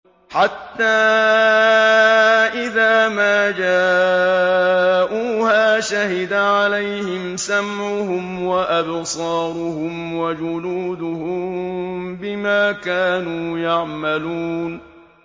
حَتَّىٰ إِذَا مَا جَاءُوهَا شَهِدَ عَلَيْهِمْ سَمْعُهُمْ وَأَبْصَارُهُمْ وَجُلُودُهُم بِمَا كَانُوا يَعْمَلُونَ